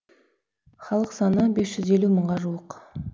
халық саны бес жүз елу мыңға жуық